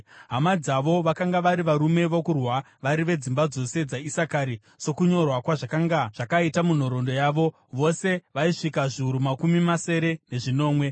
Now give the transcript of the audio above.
Hama dzavo vakanga vari varume vokurwa vari vedzimba dzose dzaIsakari, sokunyorwa kwazvakanga zvakaita munhoroondo yavo, vose vaisvika zviuru makumi masere nezvinomwe.